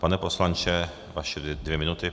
Pane poslanče, vaše dvě minuty.